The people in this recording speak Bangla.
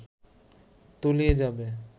তলিয়ে যাবে